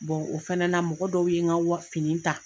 o fɛnɛ na mɔgɔ dɔw ye n ka wa fini ta.